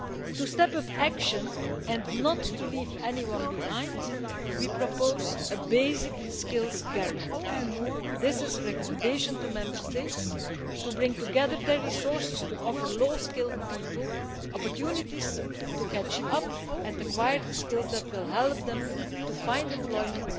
To step up action and not to leave anyone behind, we propose a basic skills guarantee. This is a recommendation to Member States to bring together their resources to offer low skilled people opportunities to catch up and acquire the skills that will help them to find employment,